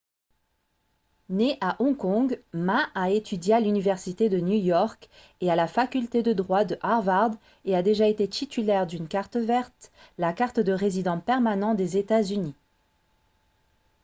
né à hong kong ma a étudié à l'université de new york et à la faculté de droit de harvard et a déjà été titulaire d'une « carte verte » la carte de résident permanent des états-unis